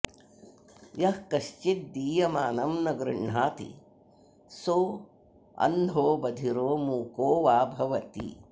यः कश्चिद्दीयमानं न गृह्णाति सोऽन्धो बधिरो मूको वा भवति